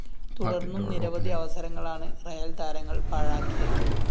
തുടര്‍ന്നും നിരവധി അവസരങ്ങളാണ് റിയൽ താരങ്ങള്‍ പാഴാക്കിയത്